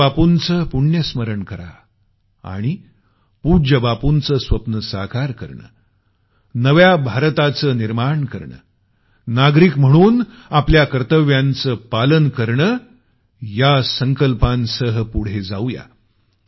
पूज्य बापूंचं पुण्यस्मरण करा आणि पूज्य बापूंचं स्वप्न साकार करणं नव्या भारताचं निर्माण करणंनागरिक म्हणून आपल्या कर्तव्यांचं पालन करणंया संकल्पासह आपण पुढे जाऊ या